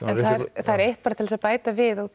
en það er eitt bara til þess að bæta við út